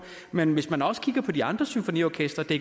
men hvis man også kigger på de andre symfoniorkestre kan